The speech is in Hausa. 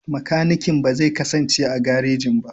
Makanikin ba zai kasance a garejin ba.